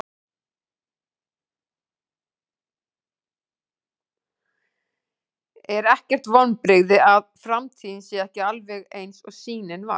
Er ekkert vonbrigði að framtíðin sé ekki alveg eins og sýnin var?